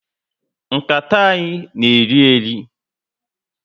Nkata anyị na eri eri